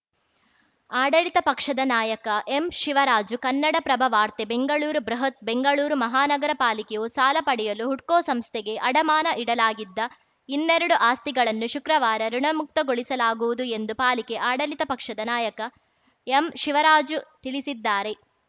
ಆಡಳಿತ ಪಕ್ಷದ ನಾಯಕ ಎಂಶಿವರಾಜು ಕನ್ನಡಪ್ರಭ ವಾರ್ತೆ ಬೆಂಗಳೂರು ಬೃಹತ್‌ ಬೆಂಗಳೂರು ಮಹಾನಗರ ಪಾಲಿಕೆಯು ಸಾಲ ಪಡೆಯಲು ಹುಡ್ಕೋ ಸಂಸ್ಥೆಗೆ ಅಡಮಾನ ಇಡಲಾಗಿದ್ದ ಇನ್ನೆರಡು ಆಸ್ತಿಗಳನ್ನು ಶುಕ್ರವಾರ ಋುಣಮುಕ್ತಗೊಳಿಸಲಾಗುವುದು ಎಂದು ಪಾಲಿಕೆ ಆಡಳಿತ ಪಕ್ಷದ ನಾಯಕ ಎಂಶಿವರಾಜು ತಿಳಿಸಿದ್ದಾರೆ